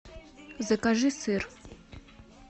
закажи сыр